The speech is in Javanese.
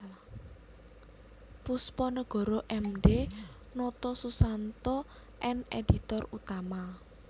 Poesponegoro M D Notosusanto N editor utama